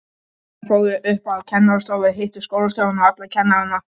Þær fóru upp á kennarastofu, hittu skólastjórann og alla kennarana.